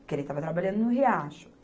porque ele estava trabalhando no Riacho.